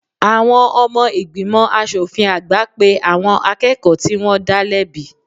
Àwọn ọmọ ìgbìmọ̀ aṣòfin àgbà pe àwọn akẹ́kọ̀ọ́ tí wọ́n dá lẹ́bi